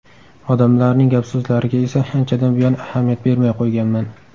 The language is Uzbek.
Odamlarning gap-so‘zlariga esa anchadan buyon ahamiyat bermay qo‘yganman”.